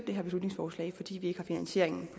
det her beslutningsforslag fordi vi ikke har finansieringen